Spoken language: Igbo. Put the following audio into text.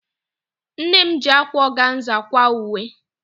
Nne m ji ákwá ọganza kwaa uwe.